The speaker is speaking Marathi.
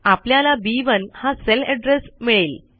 आपल्याला बी1 हा सेल एड्रेस मिळेल